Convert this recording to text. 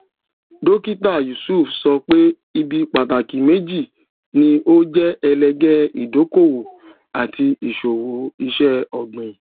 dókítà yusuf sọ pé ibi pàtàkì méjì ni ó jẹ ẹlẹgẹ ìdókòwò àti ìṣòwò iṣẹ ọgbìn